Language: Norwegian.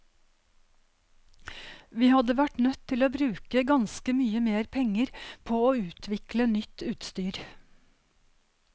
Vi hadde vært nødt til å bruke ganske mye mer penger på å utvikle nytt utstyr.